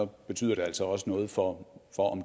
betyder det altså også noget for om